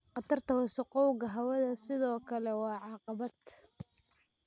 Khatarta wasakhowga hawada sidoo kale waa caqabad.